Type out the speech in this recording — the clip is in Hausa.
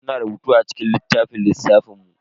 Muna rubutu a cikin littafin lissafin mu.